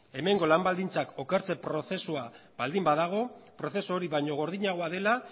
hemengo lan baldintzak okertzen prozesua baldin badago prozesu hori baina gordinagoa dela